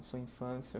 Sua infância.